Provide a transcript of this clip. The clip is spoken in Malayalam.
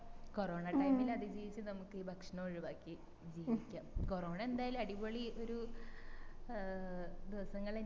കൊറോണ time ൽ അതിജീവിച് നമ്മക്ക് ഈ ഭക്ഷണം ഒഴിവാക്കി ജീവിക്കാം കൊറോണ എന്തായാലും അടിപൊളി ഒരു ഏർ ദിവസങ്ങള്